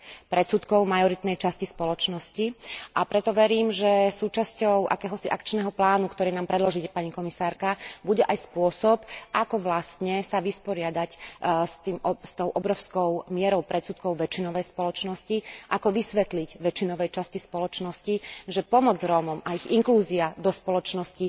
Predsudkov majoritnej časti spoločnosti, a preto verím, že súčasťou akéhosi akčného plánu, ktorý nám predložíte, pani komisárka, bude aj spôsob, ako sa vyrovnať s tou obrovskou mierou predsudkov väčšinovej spoločnosti, ako vysvetliť väčšinovej časti spoločnosti, že pomoc Rómom a ich inklúzia do spoločnosti